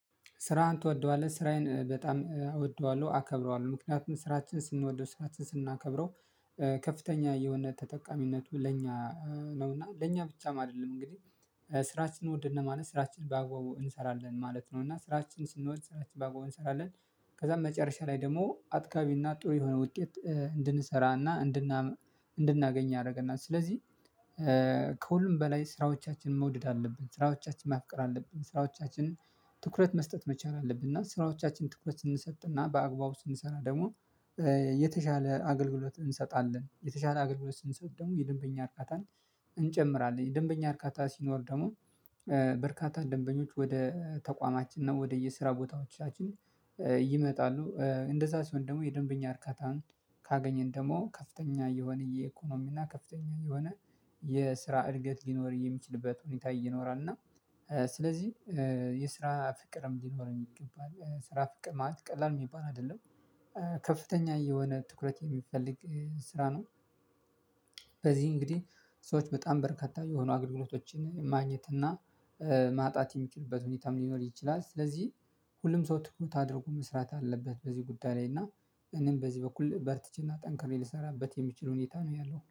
ስራህን ትወደዋለህ? ስራዬን በጣም እወደዋለሁ፣ አከብረዋለሁ። ምክንያቱም ስራችን ስንወደው፣ ስራችን ስናከብረው ከፍተኛ የውነት ተጠቃሚነቱ ለእኛ ነው እና ለእኛ ብቻም አይደለም። እንግዲህ ስራችንን ወደድን ማለት ስራችንን በአግባቡ እንሰራለን ማለት ነው፣ እና ስራችንን ስንወድ ስራችንን በአግባቡ እንሰራለን። ከዛ መጨረሻ ላይ ደግሞ አጥጋቢና ጥሩ የሆነ ውጤት እንድንሰራና እንድናገኝ ያደርገናል። ስለዚህ ከሁሉም በላይ ስራዎቻችንን መውደድ አለብን። ስራዎቻችንን ማፍቀር አለብን፣ ስራዎቻችንን ትኩረት መስጠት መቻል አለብን እና ስራዎቻችን ትኩረት ስንሰጥና በአግባቡ ስንሰራ ደግሞ የተሻለ አገልግሎት እንሰጣለን። የተሻለ አገልግሎት ስንሰጥ ደግሞ የደንበኛ እርካታን እንጨምራለን። የደንበኛ እርካታ ሲኖር ደግሞ በርካታ ደንበኞች ወደ ተቋማችን እና ወደየ ስራ ቦታዎቻችን ይመጣሉ። እንደዛ ሲሆን ደግሞ የደንበኛ እርካታን ካገኘን ደግሞ ከፍተኛ የሆነ የኢኮኖሚና ከፍተኛ የሆነ የስራ እድገት ሊኖር የሚችልበት ሁኔታ ይኖራልና ስለዚህ የስራ ፍቅርም ሊኖርም ይገባል። ስራ ፍቅር ማለት ቀላል የሚባል አይደለም። ከፍተኛ የሆነ ትኩረት የሚፈልግ ስራ ነው። በዚህ እንግዲህ ሰዎች በጣም በርከታ የሆኑ አገልግሎቶችን ማግኘት እና ማጣት የሚችልበት ሁኔታም ሊኖር ይችላል። ስለዚህ ሁሉም ሰው ትኩረት አድርጎ መስራት አለበት በዚህ ጉዳይ ላይ እና እኔም በዚህ በኩል በርትቼና ጠንክሬ ልሰራበት የሚችል ሁኔታ ነው ያለው።